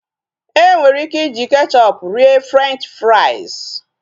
Enwere ike iji kechọpu rie Frenchi frais